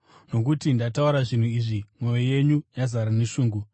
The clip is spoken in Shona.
Nokuti ndataura zvinhu izvi, mwoyo yenyu yazara neshungu.